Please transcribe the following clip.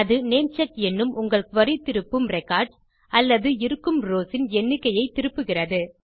அது நேம்செக் என்னும் உங்கள் குரி திருப்பும் ரெக்கார்ட்ஸ் அல்லது இருக்கும் ரவ்ஸ் இன் எண்ணிக்கையை திருப்புகிறது